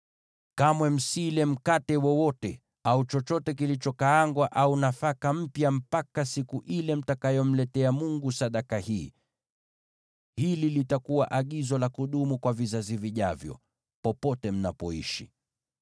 Kamwe msile mkate wowote, au nafaka iliyokaangwa au nafaka mpya, mpaka siku ile mtakayomletea Mungu wenu sadaka hii. Hili litakuwa agizo la kudumu kwa vizazi vijavyo, popote mnapoishi.